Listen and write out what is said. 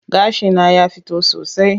Gashi na ya fito sosai.